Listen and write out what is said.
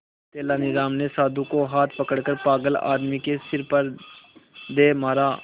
तेनालीराम ने साधु का हाथ पकड़कर पागल आदमी के सिर पर दे मारा